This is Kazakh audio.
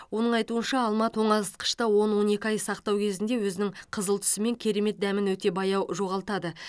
оның айтуынша алма тоңазытқышты он он екі ай сақтау кезінде өзінің қызыл түсі мен керемет дәмін өте баяу жоғалтады